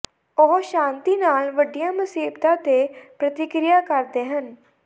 ਉਹ ਸ਼ਾਂਤੀ ਨਾਲ ਵੱਡੀਆਂ ਮੁਸੀਬਤਾਂ ਤੇ ਪ੍ਰਤੀਕਿਰਿਆ ਕਰਦੇ ਹਨ